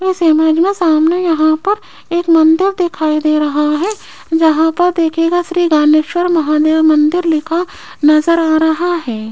इस इमेज में सामने यहां पर एक मंदिर दिखाई दे रहा है जहां पर देखिएगा श्री रामेश्वर महादेव मंदिर लिखा नजर आ रहा है।